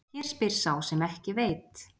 Hér spyr sá sem ekki veit!